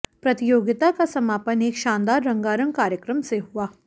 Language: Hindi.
प्रतियोगिता का समापन एक शानदार रंगा रंग कार्यक्रम से हुआ